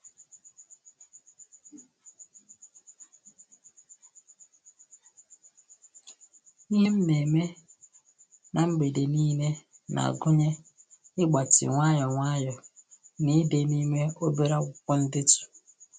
Ihe m na eme na mgbede niile na-agụnye ịgbatị nwayọ nwayọ na ide n'ime obere akwụkwọ ndetu